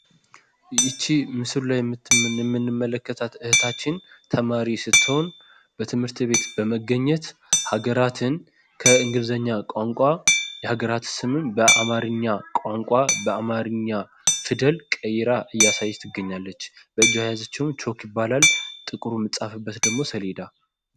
ይች ምስሉ ላይ የምንመለከታት እህታችን ተማሪ ስትሆን በትምህርት ቤት በመገኘት ሀገራትን ከእንግሊዝኛ ቋንቋ የሀገራት ስምን በአማርኛ ቋንቋ በአማርኛ ፊደል ቀይራ እያሳየች ትገኛለች። በእጇ የያዘችውም ቾክ ይባላል። ጥቁሩ የሚጻፍበት ደግሞ ሰሌዳ።